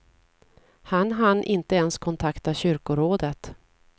Han hann inte ens kontakta kyrkorådet.